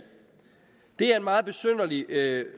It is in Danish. det er en meget besynderlig